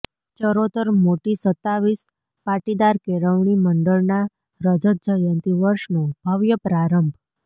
ચરોતર મોટી સત્તાવીસ પાટીદાર કેળવણી મંડળના રજતજયંતી વર્ષનો ભવ્ય પ્રારંભ